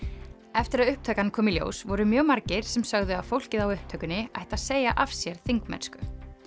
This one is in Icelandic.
eftir að upptakan kom í ljós voru mjög margir sem sögðu að fólkið á upptökunni ætti að segja af sér þingmennsku